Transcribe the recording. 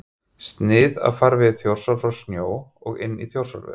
Snið af farvegi Þjórsár frá sjó og inn í Þjórsárver.